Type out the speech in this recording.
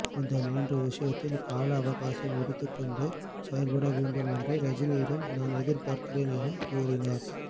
இந்த மூன்று விஷயத்தில் காலஅவகாசம் எடுத்துக்கொண்டு செயல்படவேண்டும் என்று ரஜினியிடம் நான் எதிர்பார்க்கிறேன் என கூறினார்